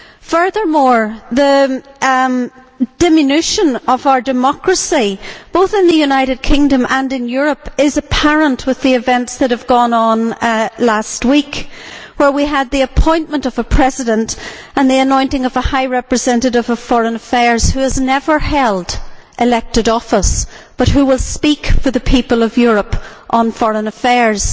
Furthermore, the diminution of our democracy, both in the United Kingdom and in Europe, is apparent with the events of last week where we had the appointment of a President and the anointing of a High Representative of Foreign Affairs who has never held elected office, but who will speak for the people of Europe on foreign affairs.